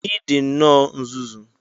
Ị dị nnọọ nzuzu!